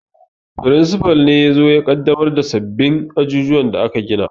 Firinsifal ne yazo ya ƙaddamar da sabbin ajujuwan da aka gina